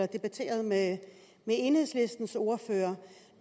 debatterede med enhedslistens ordfører